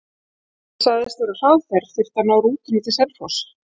Ég sagðist vera á hraðferð, þyrfti að ná rútunni til Selfoss.